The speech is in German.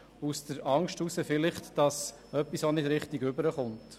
Es könnte befürchtet werden, dass vielleicht etwas nicht richtig rüberkommt.